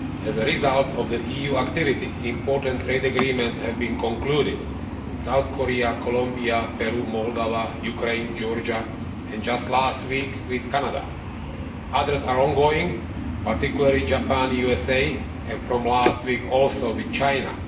As a result of EU activity, important trade agreements have been concluded with South Korea, Colombia, Peru, Moldova, Ukraine, Georgia and, just last week, with Canada. Others are ongoing, particularly with Japan, the USA, and, from last week also, with China.